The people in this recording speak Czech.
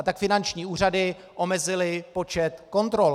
A tak finanční úřady omezily počet kontrol.